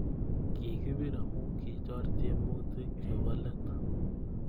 Ki kipir amu kichor tiemutik chebo let